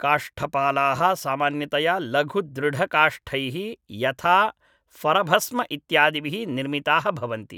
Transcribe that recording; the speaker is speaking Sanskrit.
काष्ठपालाः सामान्यतया लघु दृढकाष्ठैः यथा फरभस्म इत्यादिभिः निर्मिताः भवन्ति